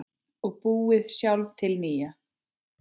Og búið sjálf til nýja.